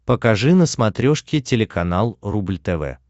покажи на смотрешке телеканал рубль тв